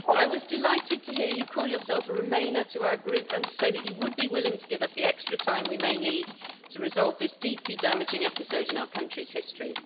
Dr von der Leyen, I was delighted to hear you call yourself a Remainer to our group, and to say that you would be willing to give us the extra time we may need to resolve this deeply damaging episode in our country's history.